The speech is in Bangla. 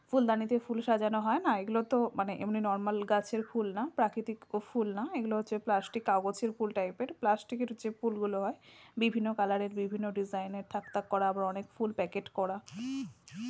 ফুলদানিতে ফুল সাজানো হয় না এগুলোতো মানে এমনি নরমাল গাছের ফুল না প্রাকৃতিক ও ফুল না এগুলো হচ্ছে প্লাষ্টিক কাগজের ফুল টাইপ এর প্লাস্টিক এর যে ফুলগুলো হয় বিভিন্ন কালার এর বিভিন্ন ডিসাইন এর থাক থাক করা এবং অনেক ফুল প্যাকেট করা ।